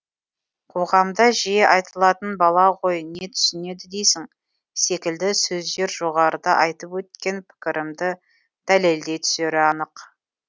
қоғамда жиі айтылатын бала ғой не түсінеді дейсің секілді сөздер жоғарыда айтып өткен пікірімді дәлелдей түсері анық